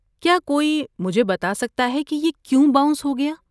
کیا کوئی مجھے بتا سکتا ہے کہ یہ کیوں باؤنس ہو گیا؟